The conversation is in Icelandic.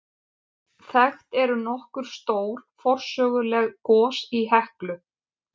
Þekkt eru nokkur stór forsöguleg gos í Heklu.